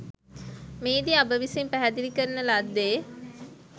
මෙහිදී අප විසින් පැහැදිලි කරන ලද්දේ